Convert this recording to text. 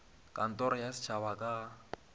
kantoro ya setšhaba ka ga